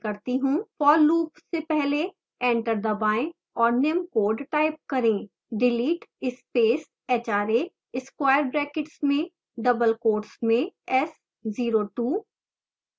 for loop से पहले enter दबाएं और निम्न code type करें